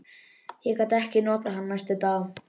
Ég gat ekkert notað hann næstu daga.